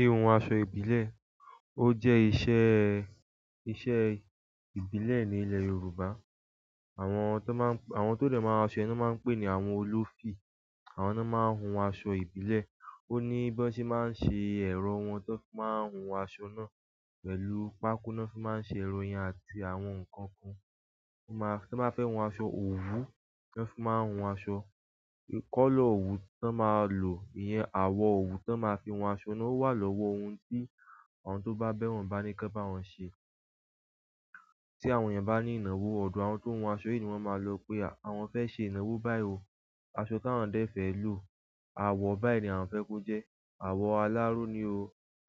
Ihun aṣọ ìbílẹ̀, ó jẹ́ iṣẹ́, iṣẹ́ ìbílẹ̀ ní ilẹ̀ Yorùbá. Àwọn to de maa n se ni won maa n pe ni ahun olufi. Àwọn náà máa ń hun aṣọ ìbílẹ̀. Ó ní bí wọ́n ṣe máa ń ṣe ẹ̀rọ wọn tó máa ń hun aṣọ náà pẹ̀lú pákó ní wọ́n fi máa ń ṣe ẹrọ yẹn àti àwọn nǹkan kan. Wọ́n máa, tí wọ́n bá fẹ́ hun aṣọ òwú, tí wọ́n bá fẹ́ hun aṣọ ìkọ́lọ òwú tí wọ́n máa lò, ìyẹn àwọ̀ òwú tí wọ́n máa fi hun aṣọ náà ó wà lọ́wọ́ ohun tí àwọn tó bá bẹ̀ wọ́n bá ní kí won bá wọn ṣe. Tí àwọn èèyàn bá ní ìnáwó, ọ̀dọ̀ àwọn tó hun aṣọ yìí ní wọ́n máa lọ pé àwọn fẹ́ ṣe ìnáwó báyìí ò. Aṣọ táwọn dé fẹ́ lò, àwọ̀ báyìí ni àwọn fẹ́ kó jẹ́, àwọ̀ aláró ni o,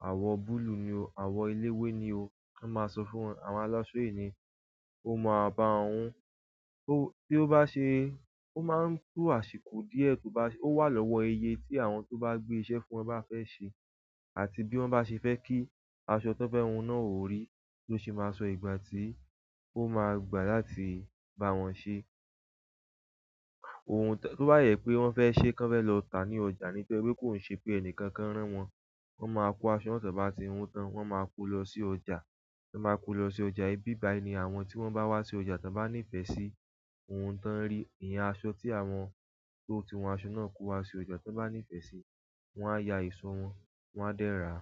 àwọ̀ búlúù ni o, àwọ̀ eléwé ni o. Wọ́n máa sọ fún àwọn alásọ yìí ní, ó ma ba won hun. Bi o ba se, o maa n to àsìkò díẹ̀. O wa lowo iye ti àwọn to ba gbe iṣẹ́ ti won ba fe se àti bí wọ́n bá ṣe fẹ́ kí aṣọ tí wọ́n fẹ́ hun náà ó rí tó sì máa sọ ìgbà tí ó máa gbà láti bá wọn ṣe. Ohun tó bá yẹ pé wọ́n fẹ́ ṣé kan fẹ́ lọ tà ní ọjà nítorí pé kò ṣe pé ẹni kankan rán wọn, wọ́n máa kó aṣọ náà tí wọ́n bá ti hun tán, wọ́n máa kó lọ sí ọjà. Tí wọ́n bá kó lọ sí ọjà, ibí báyìí ni àwọn tí wọ́n bá wá sí ọjà tí wọ́n bá nífẹ̀ẹ́ sí ohun tí wọ́n rí, ìyẹn aṣọ tí àwọn tó ti hun aṣọ náà kó wá sí ọjà tí wọ́n bá nífẹ̀ẹ́ sí, wọ́n á ya ìṣọ́ wọn, wọ́n á dẹ́ ra.